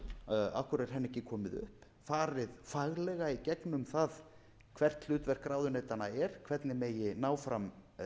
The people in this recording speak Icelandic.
boðuð af hverju er henni ekki komið upp farið faglega í gegnum það hvert hlutverk ráðuneytanna er hvernig megi ná fram